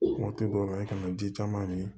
Waati dɔw la i kana ji caman min